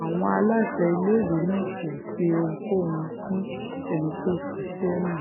àwọn aláṣẹ iléèwé náà kò ṣe ohunkóhun fún ẹni tó ṣiṣẹ́ náà